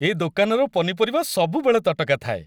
ଏ ଦୋକାନର ପନିପରିବା ସବୁବେଳେ ତଟକା ଥାଏ ।